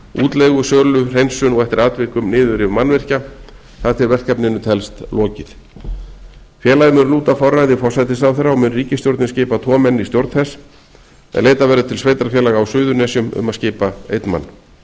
útleigu sölu hreinsun og eftir atvikum niðurrif mannvirkja þar til verkefninu telst lokið félagið mun lúta forræði forsætisráðherra og mun ríkisstjórnin skipa tvo menn í stjórn þess en leitað verður til sveitarfélaga á suðurnesjum um að skipa einn